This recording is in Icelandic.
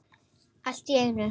Allt í einu.